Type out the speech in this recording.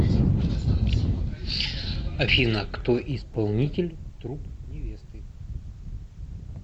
афина кто исполнитель труп невесты